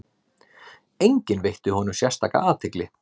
Enginn veitti honum sérstaka athygli.